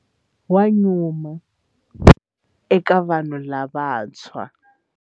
Wa nyuma eka vanhu lavantshwa.